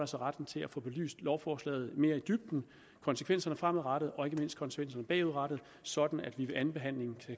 sig retten til at få belyst lovforslaget mere i dybden konsekvenserne fremadrettet og ikke mindst konsekvenserne bagudrettet sådan at vi ved andenbehandlingen